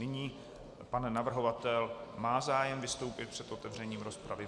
Nyní pan navrhovatel má zájem vystoupit před otevřením dopravy.